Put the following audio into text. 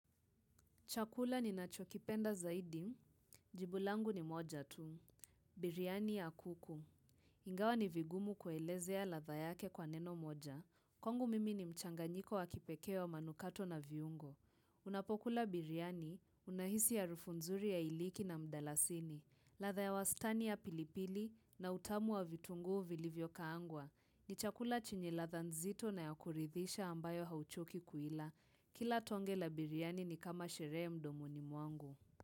Chakula ninachokipenda zaidi, jibu langu ni moja tu, biriani ya kuku. Ingawa ni vigumu kuelezea ladha yake kwa neno moja. Kwangu mimi ni mchanganyiko wa kipekee wa manukato na viungo. Unapokula biriani, unahisi harufu nzuri ya iliki na mdalasini, ladha ya wastani ya pilipili na utamu wa vitunguu vilivyokaangwa. Ni chakula chenye ladha nzito na ya kuridhisha ambayo hauchoki kuila. Kila tonge la biriani ni kama sherehe mdomoni mwangu.